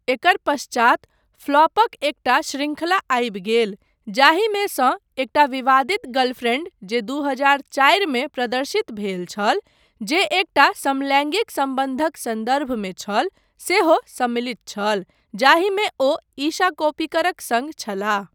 एकर पश्चात फ्लॉपक एकटा शृंखला आबि गेल, जाहिमे सँ एकटा विवादित गर्लफ्रेन्ड जे दू हजार चारि मे प्रदर्शित भेल छल , जे एकटा समलैङ्गिक सम्बन्धक सन्दर्भमे छल, सेहो सम्मिलित छल, जाहिमे ओ ईशा कोप्पिकरक सङ्ग छलाह।